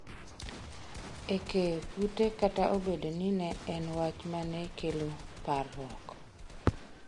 e keyo kute kata obedo ni ne en wach mane kelo parruok